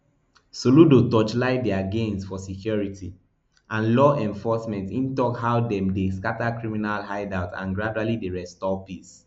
soludo torchlight dia gains for security and law enforcement e tok how dem dey scata criminal hideouts and gradually dey restore peace